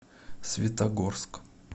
светогорск